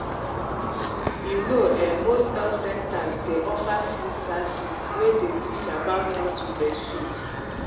you know um most health centers day offer free classes way day teach about how to breastfeed.